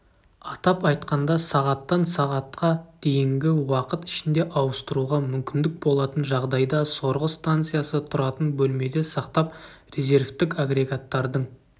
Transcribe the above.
атап айтқанда сағаттан сағатқа дейінгі уақыт ішінде ауыстыруға мүмкіндік болатын жағдайда сорғы станциясы тұратын бөлмеде сақтап резервтік агрегаттардың